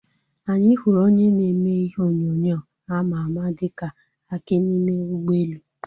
Anyị hụrụ onye na-eme ihe onyonyo àmà àmà dịka Aki n'ime ụgbọelu